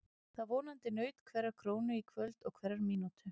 Það vonandi naut hverrar krónu í kvöld og hverrar mínútu.